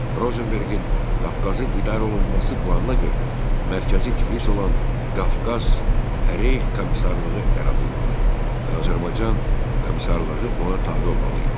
Rozenberqin Qafqazın idarə olunması planına görə, mərkəzi Tiflis olan Qafqaz Reyx Komissarlığı yaradılmalı, Azərbaycan komissarlığı ona tabe olmalı idi.